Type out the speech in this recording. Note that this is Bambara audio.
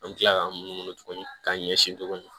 An bɛ tila k'an mun tuguni k'an ɲɛsin tuguni